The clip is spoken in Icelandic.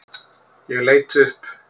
Ég leit upp.